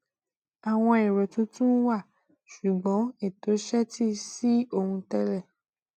àwọn èrò tuntun wà ṣùgbọn ètò ṣetí sí ohun télè